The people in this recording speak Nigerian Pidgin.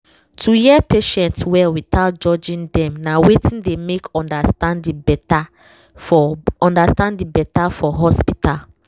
to hear patient well without judging dem na wetin dey make understanding better for understanding better for hospital